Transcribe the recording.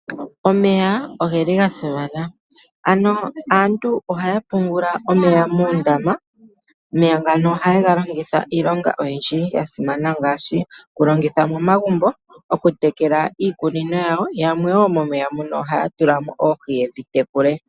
Omeya ogeli gasimana, ano aantu ohaya pungula omeya muundama. Omeya ngano ohaye ga longitha iilonga oyindji yasimana ngaashi, okulongitha momagumbo, okutekela iikunino yawo, yamwe wo momeya muno ohaya tula mo oohi yedhi tekule.